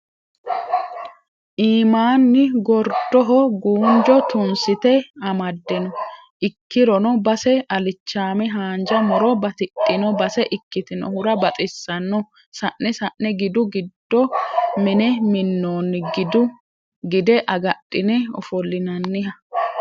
Iimanni gordoho guunjo tunsite amade no ikkirono base alichame haanja muro batidhino base ikkitinohura baxisano sa'ne sa'ne gidu giddo mine minoni gide agadhine ofollinanniha.